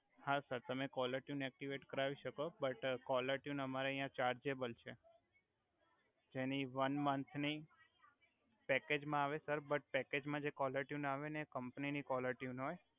હા સર તમે caller tune activate કરાવી સકો બટ કોલર ટ્યુન અમરે અહીયાં ચાર્જેબલ છે જેની વન મંથની પેકેજ મા આવે સર બ્ટ પેકેજ મા જે કોલર ટ્યુન આવે ને એ કમ્પની ની કોલર ટ્યુન હોય